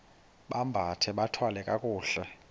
bambathe bathwale kakuhle